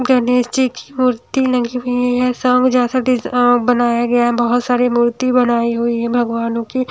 गनेश जी की मूर्ति लगी हुई है शंख जैसा दी अ बनाया गया है बहोत सारी मूर्ति बनाई हुई है भगवानों की--